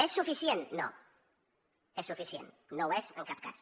és suficient no és suficient no ho és en cap cas